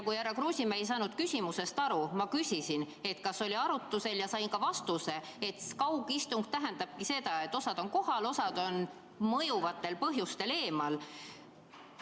Kui härra Kruusimäe ei saanud küsimusest aru, siis ma küsisin, kas see oli arutusel, ja sain ka vastuse, et kaugistung tähendabki seda, et osa on kohal, osa on mõjuvatel põhjustel eemal.